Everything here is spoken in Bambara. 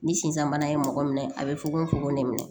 Ni sisan bana ye mɔgɔ minɛ a bɛ fugon fokon ne minɛ